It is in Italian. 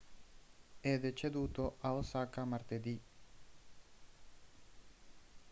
è deceduto a osaka martedì